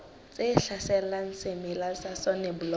tse hlaselang semela sa soneblomo